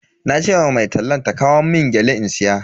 Nace ma mai tallan ta kawo mun gyale in siya.